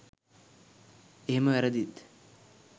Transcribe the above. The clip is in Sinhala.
එහෙම වැරදිත්